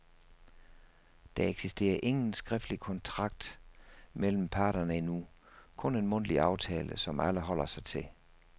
Der eksisterer ingen skriftlig kontrakt mellem parterne endnu, kun en mundtlig aftale, som alle holder sig til.